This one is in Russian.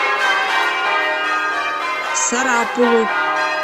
сарапулу